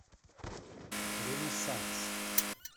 ренессанс